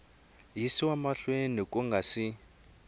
yisiwa mahlweni ku nga si